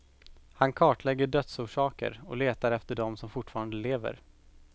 Han kartlägger dödsorsaker och letar efter dem som fortfarande lever.